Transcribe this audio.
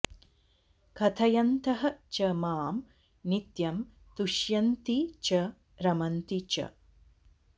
कथयन्तः च माम् नित्यम् तुष्यन्ति च रमन्ति च